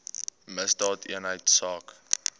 misdaadeenheidsaak